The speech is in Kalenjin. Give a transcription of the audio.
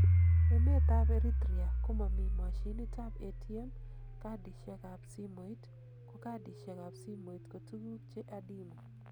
Emet tab Eritrea komomi moshinit tab ATM cardishek ab simoit ko cardishek ab simoit ko tuguk che adimu.